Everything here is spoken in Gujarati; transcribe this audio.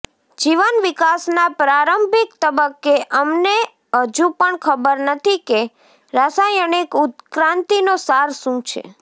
જીવન વિકાસના પ્રારંભિક તબક્કે અમને હજુ પણ ખબર નથી કે રાસાયણિક ઉત્ક્રાંતિનો સાર શું છે